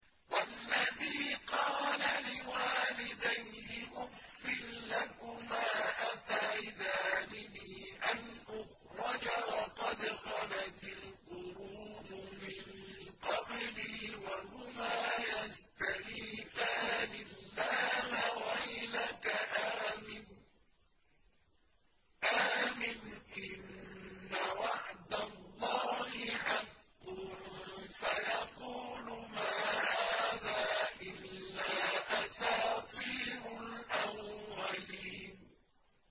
وَالَّذِي قَالَ لِوَالِدَيْهِ أُفٍّ لَّكُمَا أَتَعِدَانِنِي أَنْ أُخْرَجَ وَقَدْ خَلَتِ الْقُرُونُ مِن قَبْلِي وَهُمَا يَسْتَغِيثَانِ اللَّهَ وَيْلَكَ آمِنْ إِنَّ وَعْدَ اللَّهِ حَقٌّ فَيَقُولُ مَا هَٰذَا إِلَّا أَسَاطِيرُ الْأَوَّلِينَ